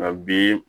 Nka bi